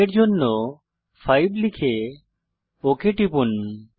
i এর জন্য 5 লিখে ওক টিপুন